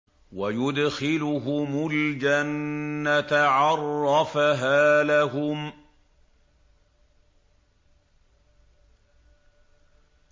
وَيُدْخِلُهُمُ الْجَنَّةَ عَرَّفَهَا لَهُمْ